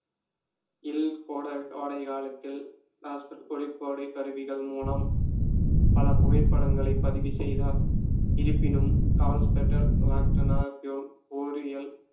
இல் கோட~ கோடைகாலத்தில் ஒளிக்கோடைக் கருவிகள் மூலம் பல புகைப்படங்களைப் பதிவு செய்தார். இருப்பினும ஓரியல்